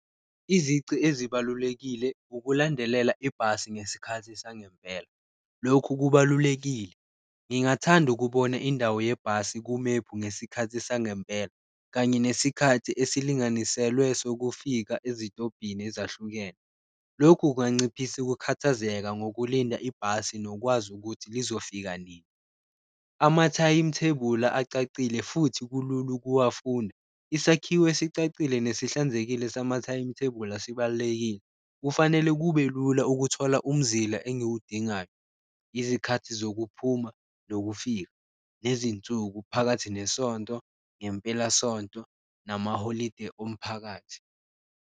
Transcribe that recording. Izici ezibalulekile ukulandelela ibhasi ngesikhathi sangempela lokhu kubalulekile, ngingathanda ukubona indawo yebhasi kumephu ngesikhathi sangempela, kanye nesikhathi esilinganiselwe sokufika ezitobhini ezahlukene. Lokhu kunganciphisa ukukhathazeka ngokulinda ibhasi nokwazi ukuthi lizofika nini, amathayimithebula acacile futhi kulula ukuwafunda, isakhiwo esicacile nesihlanzekile samathayimithebula sibalulekile. Kufanele kube lula ukuthola umzila engiwudingayo, izikhathi zokuphuma nokufika, nezinsuku phakathi nesonto, ngempelasonto namaholide omphakathi.